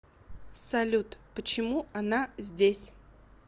салют почему она здесь